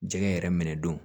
Jɛgɛ yɛrɛ minɛ don